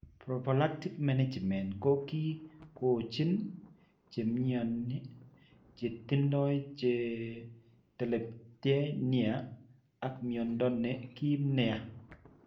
Prophylactic management ko ki kochin che mnyoni che tindo che tepchen nia ak mnyando ne kiim nia.